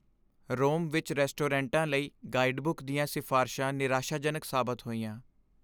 ਰੋਮ ਵਿੱਚ ਰੈਸਟੋਰੈਂਟਾਂ ਲਈ ਗਾਈਡਬੁੱਕ ਦੀਆਂ ਸਿਫਾਰਸ਼ਾਂ ਨਿਰਾਸ਼ਾਜਨਕ ਸਾਬਤ ਹੋਈਆਂ।